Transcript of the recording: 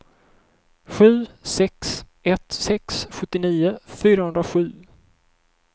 sju sex ett sex sjuttionio fyrahundrasju